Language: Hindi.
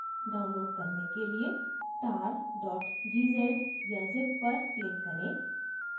download करने के लिए tar gz या zip पर click करें